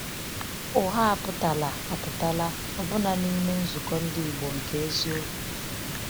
Ụgha apụtala apụtala ọbụna n’ime nzukọ ndị Igbo nke eziokwu.